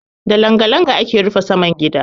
Da langa-langa ake rufe saman gida.